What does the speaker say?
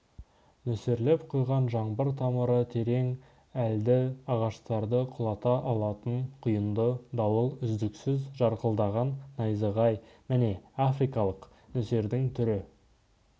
нөсерлеп құйған жаңбыр тамыры терең әлді ағаштарды құлата алатын құйынды дауыл үздіксіз жарқылдаған найзағай міне африкалық нөсердің түрі